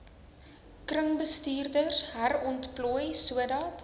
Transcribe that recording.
kringbestuurders herontplooi sodat